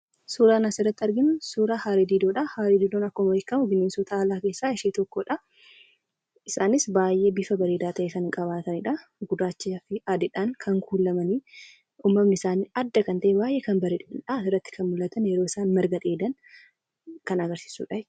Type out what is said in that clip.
Suuraan asirratti arginu suuraa harree-didoo dha. Harree-didoon akkuma beekamu bineensota alaa keessaa ishee tokko dha. Isaanis baay'ee bifa bareedaa ta'e kan qabaataniidha. Gurrachinaa fi adiidhaan kan kuulamani. Uumamni isaanii adda kan ta'e baay'ee kan bareedani dha. Asirratti kan mul'atan yeroo isaan marga dheedan kan agarsiisuudha.